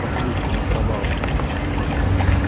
к вассалийскому провалу